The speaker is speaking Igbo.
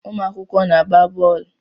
Ụmụakwụkwọ na-agba boolu